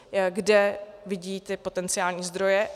Kde vidí ty potenciální zdroje?